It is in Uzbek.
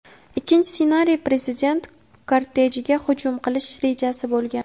ikkinchi ssenariy prezident kortejiga hujum qilish rejasi bo‘lgan.